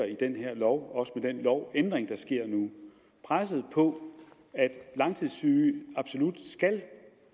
i den her lov også med den lovændring der sker nu presset på at langtidssyge absolut skal